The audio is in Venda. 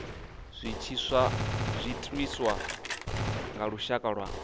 zwi itiswa nga lushaka lwa